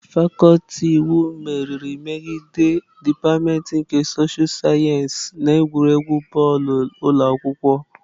Fakuti iwu meriri megide dipatịmentị nke soshal sayensị na egwuregwu bọọlụ ụlọ akwụkwọ.